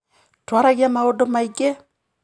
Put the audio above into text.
Twaragia maũndũ maingĩ.